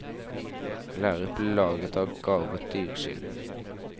Læret ble laget av garvet dyreskinn.